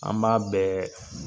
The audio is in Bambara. An b'a bɛɛ